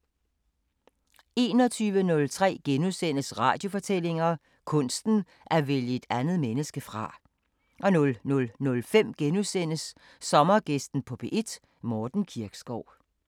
21:03: Radiofortællinger: Kunsten at vælge et andet menneske fra * 00:05: Sommergæsten på P1: Morten Kirkskov *